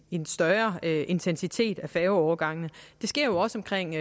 en større intensitet i færgeovergangene det sker jo også omkring